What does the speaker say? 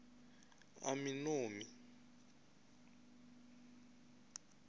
aminomi